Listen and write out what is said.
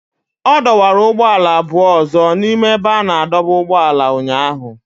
Ọ dọwara ụgbọala abụọ ọzọ n'ime ebe a na-adọba ụgbọala ya ụnyahụ